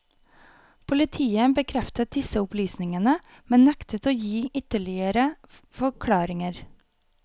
Politiet bekreftet disse opplysningene, men nektet å gi ytterligere forklaringer.